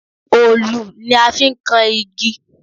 Òòlù ni a fi n kan igi